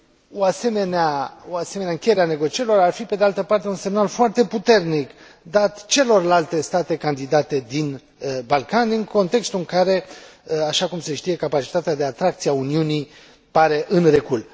O asemenea încheiere a negocierilor ar fi, pe de altă parte, un semnal foarte puternic dat celorlalte state candidate din Balcani, în contextul în care, așa cum se știe, capacitatea de atracție a Uniunii pare în recul.